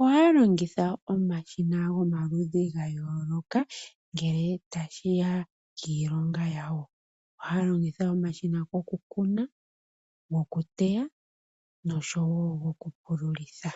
ohaya longitha omashina gomaludhi ga yooloka ngele tashi ya kiilonga yawo. Ohaya longitha omashina gokukuna, gokuteya nosho wo gokupululitha.